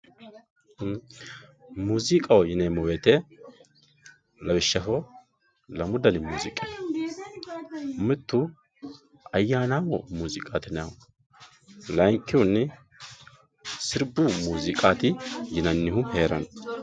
muuziqaho yineemmo wote lawishshaho lamu dani muuziiqi no mittu ayyaanaammo muuziiqaati yinanniho layiinkihunni sirbu muuziiqati yinannihu heeranno.